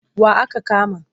Wa aka kama?